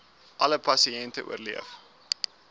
alle pasiënte oorleef